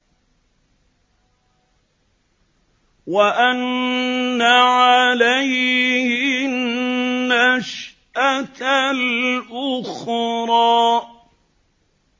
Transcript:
وَأَنَّ عَلَيْهِ النَّشْأَةَ الْأُخْرَىٰ